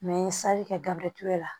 n ye sali kɛ gabrieti la